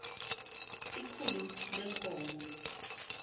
ikhulu lee nkomo